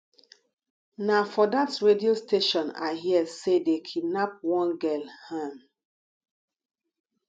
na for dat radio station i hear say dey kidnap one girl um